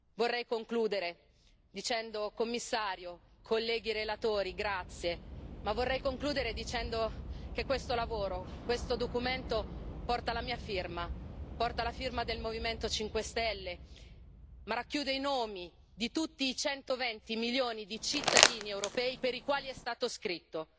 Vorrei concludere ringraziando il Commissario e i colleghi relatori, ma anche dicendo che questo lavoro, questo documento, porta la mia firma, porta la firma del Movimento 5 Stelle, ma racchiude i nomi di tutti i 120 milioni di cittadini europei per i quali è stato scritto.